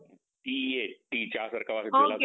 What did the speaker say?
T HT चा सारखा